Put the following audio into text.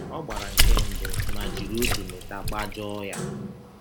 Ọ gbara nke mbụ ma jiri otu mita gbajọọ ya.